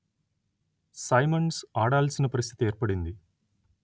Symonds ఆడాల్సిన పరిస్థితి ఏర్పడింది